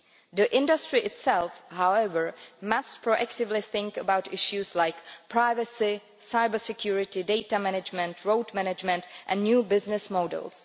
The industry itself, however, must proactively think about issues like privacy, cyber security, data management, road management and new business models.